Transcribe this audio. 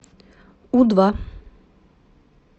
у два